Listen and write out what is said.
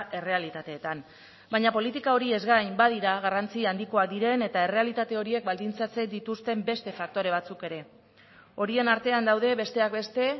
errealitateetan baina politika horiez gain badira garrantzia handikoak diren eta errealitate horiek baldintzatzen dituzten beste faktore batzuk ere horien artean daude besteak beste